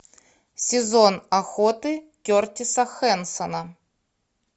сезон охоты кертиса хэнсона